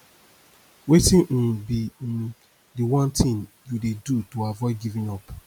wetin um be um di one thing you dey do to avoid giving up